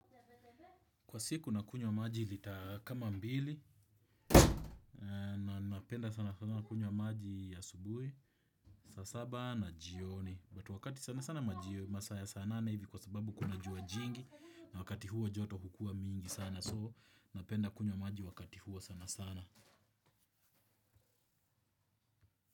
Kwa siku nakunywa maji lita kama mbili na napenda sana sana kunywa maji ya asubuhi, saa saba na jioni. But wakati sana sana majioni masaa ya saa nane hivi kwa sababu kuna jua jingi na wakati huo joto hukua mingi sana so napenda kunywa maji wakati huo sana sana.